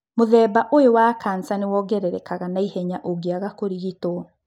Mũthemba ũyũ wa kanca nĩ wongererekaga na ihenya ũngĩaga kũrigitwo.